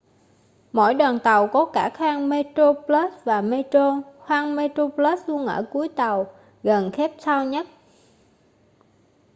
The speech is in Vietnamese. mỗi đoàn tàu có cả khoang metroplus và metro khoang metroplus luôn ở cuối tàu gần cape town nhất